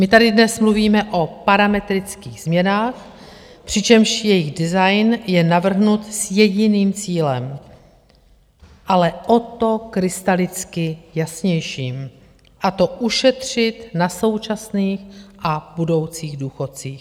My tady dnes mluvíme o parametrických změnách, přičemž jejich design je navrhnut s jediným cílem, ale o to krystalicky jasnějším, a to ušetřit na současných a budoucích důchodcích.